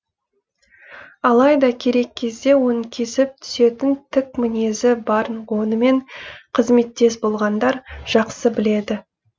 алайда керек кезде оның кесіп түсетін тік мінезі барын онымен қызметтес болғандар жақсы біледі